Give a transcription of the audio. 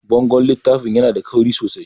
Bangon littafin yana da kauri sosai